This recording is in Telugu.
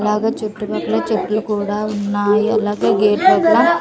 అలాగే చుట్టుపక్కల చెట్లు కూడా ఉన్నాయి అలాగే గేట్ దగ్గర--